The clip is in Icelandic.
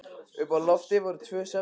Uppi á lofti voru tvö svefnherbergi.